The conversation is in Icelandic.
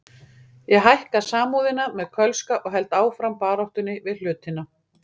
Ég hækka Samúðina með Kölska og held áfram baráttunni við hlutina.